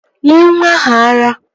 Nyee nwa ahụ ara!